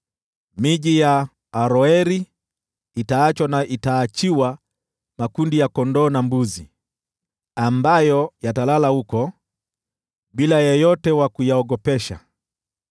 Miji ya Aroeri itaachwa na itaachiwa mifugo ambayo italala huko, bila yeyote wa kuyaogopesha.